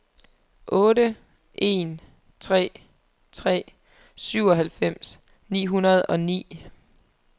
otte en tre tre syvoghalvfems ni hundrede og ni